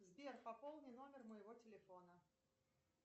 сбер пополни номер моего телефона